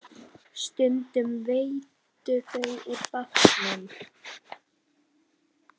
Stundum veiddu þeir úr bátnum.